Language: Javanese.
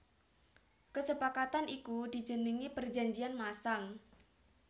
Kesepakatan iku dijenengi Perjanjian Masang